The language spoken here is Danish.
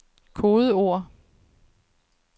kodeord